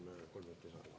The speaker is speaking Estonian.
Palun kolm minutit lisaaega.